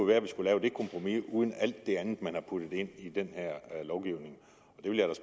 være at vi skulle lave det kompromis uden alt det andet man har puttet ind i den her lovgivning